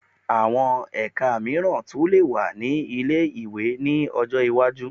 Àwọn ẹka mìíràn tún lè wà ní ilé-ìwé ní ọjọ́ iwájú